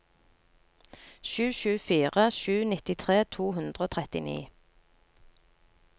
sju sju fire sju nittitre to hundre og trettini